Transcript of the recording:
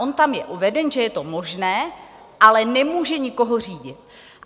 On tam je uveden, že je to možné, ale nemůže nikoho řídit.